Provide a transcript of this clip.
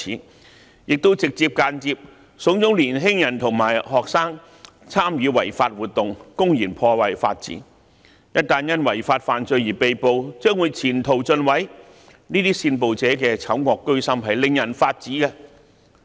他們亦直接及間接慫恿年輕人和學生參與違法活動，公然破壞法治，一旦因違法犯罪而被捕，將會前途盡毀，這些煽暴者的醜惡居心令人髮指。